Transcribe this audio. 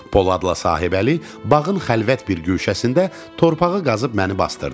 Poladla Sahibəli bağın xəlvət bir güşəsində torpağı qazıb məni basdırdılar.